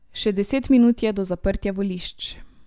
Še deset minut je do zaprtja volišč.